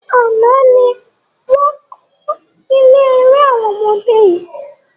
Àná ni wọn kọ́ ilé eré àwọn ọmọdé yìí